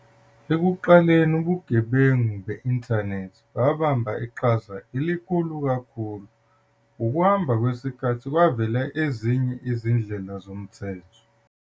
Ekuqaleni, ubugebengu be-inthanethi babamba iqhaza elikhulu kulokhu, ngokuhamba kwesikhathi kwavela ezinye izindlela zomthetho.